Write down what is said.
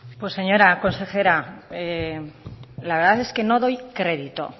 pues señora consejera la verdad es que no doy crédito